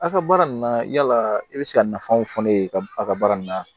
A ka baara nin na yala i bɛ se ka nafaw fɔ ne ye ka a ka baara nin na